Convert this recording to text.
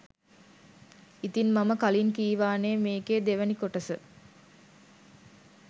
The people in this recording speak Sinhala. ඉතින් මම කලින් කීවානේ මේකේ දෙවැනි කොටස